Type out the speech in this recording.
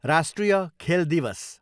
राष्ट्रिय खेल दिवस